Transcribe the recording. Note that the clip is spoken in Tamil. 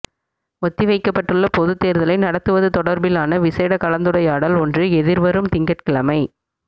ஒத்திவைக்கப்பட்டுள்ள பொதுத் தேர்தலை நடத்துவது தொடர்பிலான விசேட கலந்துரையாடல் ஒன்று எதிர்வரும் திங்கட்கிழமை